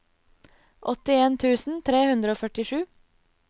åttien tusen tre hundre og førtisju